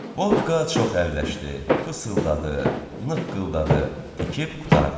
Bobka çox əlləşdi, fısıldadı, qıqqıldadı, tikib qurtardı.